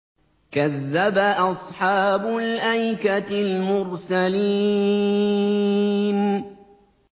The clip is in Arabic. كَذَّبَ أَصْحَابُ الْأَيْكَةِ الْمُرْسَلِينَ